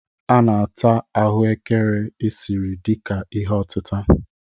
A na-ata aghù ékẹrè esiri dị ka ihe otịtà.